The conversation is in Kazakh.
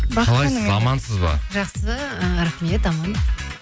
қалайсыз амансыз ба жақсы ііі рахмет аман